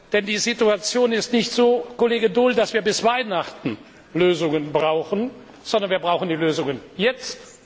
Denn die Situation ist nicht so, Kollege Daul, dass wir bis Weihnachten Lösungen brauchen, sondern wir brauchen die Lösungen jetzt!